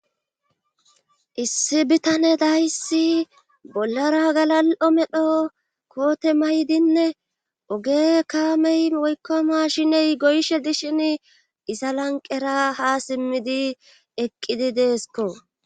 Issi bitane dayssi bollara galal'o medho koote maydinne oge kaamey woykkoma shiney goyshe dishin iza lanqera ha simmidi eqqidi deesko.